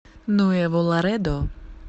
нуэво ларедо